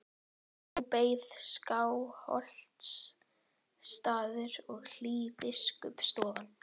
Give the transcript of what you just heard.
Nú beið hans Skálholtsstaður og hlý biskupsstofan.